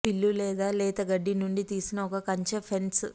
విల్లు లేదా లేత గడ్డి నుండి తీసిన ఒక కంచె ఫెన్స్